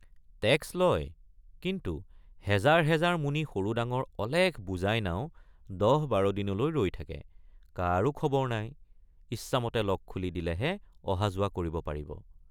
Tax লয় কিন্তু হেজাৰ হেজাৰ মোনী সৰুডাঙৰ অলেখ বোজাই নাও ১০।১২ দিনলৈ ৰৈ থাকেকাৰো খবৰ নাই ইচ্ছামতে লক খুলি দিলেহে যোৱাঅহা কৰিব পাৰিব।